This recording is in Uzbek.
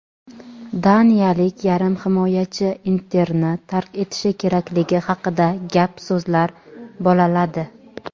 Daniyalik yarim himoyachi "Inter"ni tark etishi kerakligi haqida gap-so‘zlar "bolaladi".